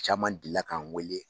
Caman deli la k'an wele.